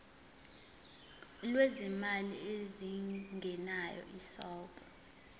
lwezimali ezingenayo isouth